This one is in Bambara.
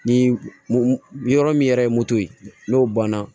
Ni yɔrɔ min yɛrɛ ye moto ye n'o banna